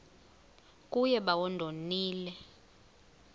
kuye bawo ndonile